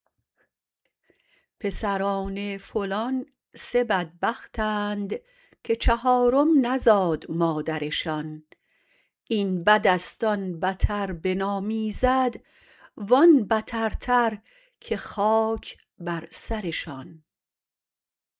پسران فلان سه بدبختند که چهارم نزاد مادرشان این بدست آن بتر به نام ایزد وان بتر تر که خاک بر سرشان